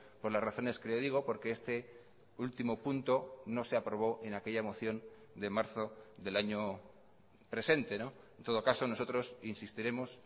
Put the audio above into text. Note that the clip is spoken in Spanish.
por las razones que ya digo porque este último punto no se aprobó en aquella moción de marzo del año presente en todo caso nosotros insistiremos